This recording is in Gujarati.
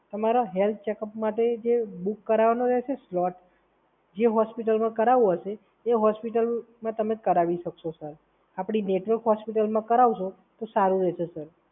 તમારા હેલ્થ ચેકઅપ માટે જે બુક કરાવવાનો છે સ્લોટ